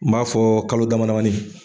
N b'a fɔ kalo damadamani.